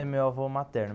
É meu avô materno.